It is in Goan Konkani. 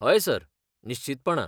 हय, सर, निश्चीतपणान.